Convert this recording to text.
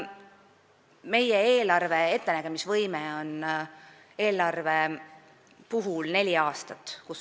Meie eelarve ettenägemise võime on neli aastat.